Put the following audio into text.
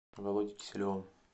володей киселевым